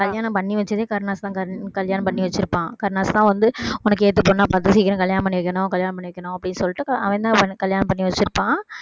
கல்யாணம் பண்ணி வச்சதே கருணாஸ் தான் கல்~ கல்யாணம் பண்ணி வச்சிருப்பான் கருணாஸ் தான் வந்து உனக்கு ஏத்த பொண்ணா பார்த்து சீக்கிரம் கல்யாணம் பண்ணி வைக்கணும் கல்யாணம் பண்ணி வைக்கணும் அப்படீன்னு சொல்லிட்டு அவ~ அவன்தான் வந்து கல்யாணம் பண்ணி வச்சிருப்பான்